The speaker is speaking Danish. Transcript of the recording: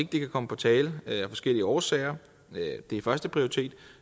kan komme på tale af forskellige årsager det er førsteprioritet